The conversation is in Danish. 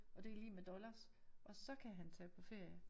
Og det lig med dollars og så kan han tage på ferie